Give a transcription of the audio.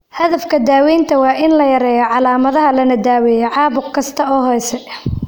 Hadafka daawaynta waa in la yareeyo calaamadaha lana daweeyo caabuq kasta oo hoose.